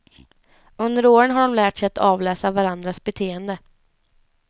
Under åren har de lärt sig att avläsa varandras beteende.